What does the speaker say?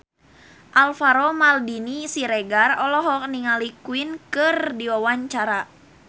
Alvaro Maldini Siregar olohok ningali Queen keur diwawancara